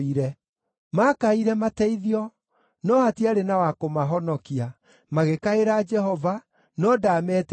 Maakaire mateithio, no hatiarĩ na wa kũmahonokia, magĩkaĩra Jehova no ndaametĩkire.